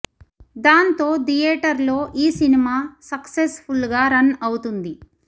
దాంతో థియేటర్లో ఈ సినిమా సస్సెస్ ఫుల్ గా రన్ అవుతుంది